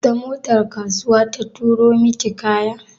Ta motar kasuwa ta turo miki kaya?